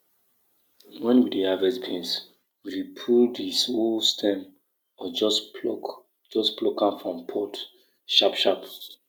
make fungal wey dey together strong by reducing how much chemical you dey use for farm land wey don dey long time